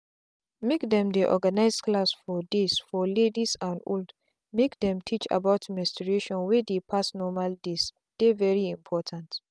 make them dey organize class for days for young ladies and old make them teach about menstruation wey dey pass normal days dey very important.